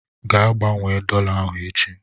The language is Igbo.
Gaa gbanwee dọla ahụ echi!